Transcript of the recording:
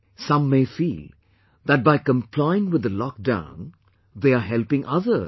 Some may feel that by complying with the lockdown, they are helping others